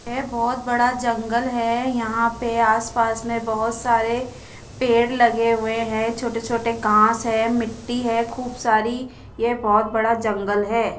ये बोहोत बड़ा जंगल है यहा पे आस पास में बोहोत सारे पेड़ लगे हुए है छोटे छोटे घास है मिट्टी है खूब सारी ये बहोत बड़ा जंगल है।